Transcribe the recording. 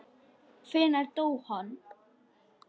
Hvenær dó hann?